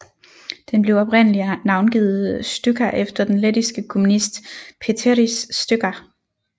Den blev oprindeligt navngivet Stučka efter den lettiske kommunist Pēteris Stučka